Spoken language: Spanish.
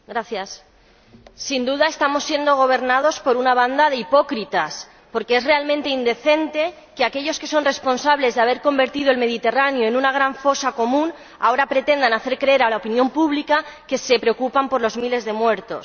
Señora Presidenta. Sin duda estamos siendo gobernados por una banda de hipócritas, porque es realmente indecente que, aquellos que son responsables de haber convertido el Mediterráneo en una gran fosa común, ahora pretendan hacer creer a la opinión pública que se preocupan por los miles de muertos.